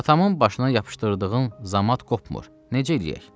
Atamın başına yapışdırdığın zamat qopmur, necə eləyək?